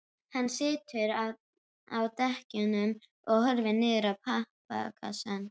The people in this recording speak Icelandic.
Hann situr á dekkjunum og horfir niður í pappakassann.